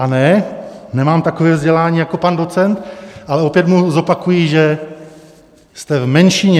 A ne, nemám takové vzdělání jako pan docent, ale opět mu zopakuji, že jste v menšině.